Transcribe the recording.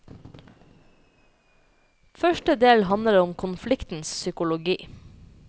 Første del handler om konfliktens psykologi.